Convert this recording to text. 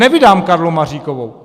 Nevydám Karlu Maříkovou!